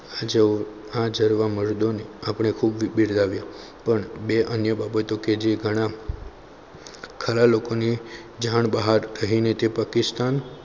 જો હાજર આપણે પણ બે અન્ય બાબતો કે જે ઘણા ખરા લોકોની જાણ બહાર રહીને પાકિસ્તાન